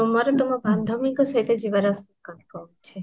ତାହାହେଲେ ତମର ତମ ବାନ୍ଧବିଙ୍କ ସହିତ ଯିବାର କାମ ଅଛି